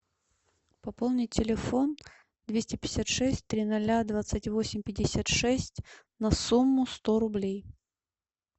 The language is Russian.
пополнить телефон двести пятьдесят шесть три ноля двадцать восемь пятьдесят шесть на сумму сто рублей